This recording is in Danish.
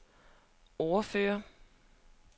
ordfører